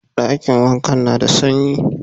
Dakin wankan na da sanyi.